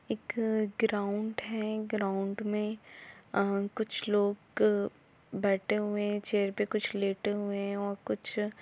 एक ग्राउन्ड है ग्राउन्ड मे अ कुछ लोग बेठे हुए है चेयर पे कुछ लेटे हुए है ऑर कुछ--